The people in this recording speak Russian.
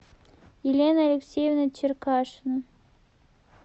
елена алексеевна черкашина